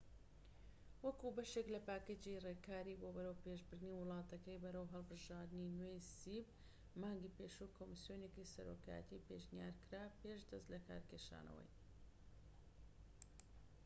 مانگی پێشوو کۆمسیۆنێکی سەرۆکایەتی پێشنیار کرا پێش دەست لەکارکێشانەوەی cep وەکو بەشێك لە پاکێجی ڕێکاری بۆ بەرەوپێشبردنی وڵاتەکە بەرەو هەڵبژاردنی نوێ